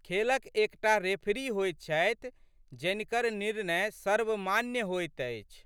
खेलक एक टा रेफरी होइत छथि जनिकर निर्णय सर्वमान्य होइत अछि।